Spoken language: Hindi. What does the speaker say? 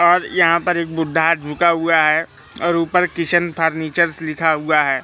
और यहां पर एक बूढ़ा झुका हुआ है और ऊपर किशन फर्नीचर्स लिखा हुआ है।